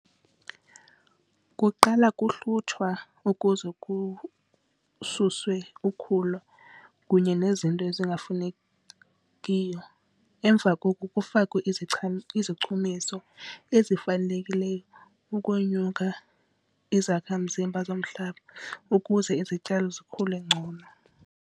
Kuqala kuhlutshwa ukuze kususwe ukhula kunye nezinto ezingafunekiyo. Emva koku kufakwe izichumiso ezifanelekileyo ukonyuka izakhamzimba zomhlaba ukuze izityalo zikhule ngcono.